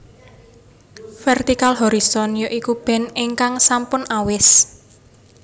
Vertical Horizon ya iku band ingkang sampun awis